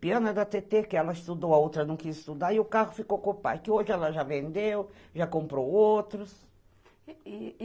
Piano é da Tetê que ela estudou, a outra não quis estudar, e o carro ficou com o pai, que hoje ela já vendeu, já comprou outros.